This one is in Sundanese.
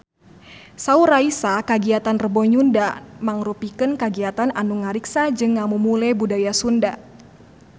Saur Raisa kagiatan Rebo Nyunda mangrupikeun kagiatan anu ngariksa jeung ngamumule budaya Sunda